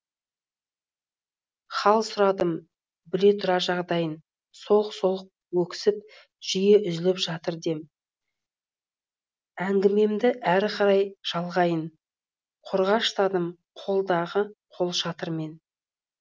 хал сұрадым біле тұра жағдайын солқ солқ өксіп жиі үзіліп жатыр дем әңгімемді ары қарай жалғайын қорғаштадым қолдағы қолшатырмен